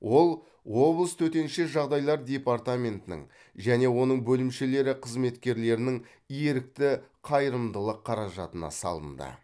ол облыс төтенше жағдайлар департаментінің және оның бөлімшелері қызметкерлерінің ерікті қайырымдылық қаражатына салынды